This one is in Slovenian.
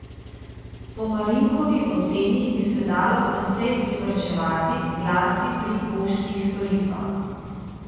Po Marinkovi oceni bi se dalo precej privarčevati zlasti pri poštnih storitvah.